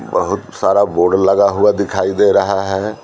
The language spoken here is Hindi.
बहुत सारा बोर्ड लगा हुआ दिखाई दे रहा है।